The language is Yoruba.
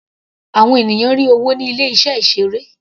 Àwọn ènìyàn rí owó ní ilé iṣẹ́ ìseré.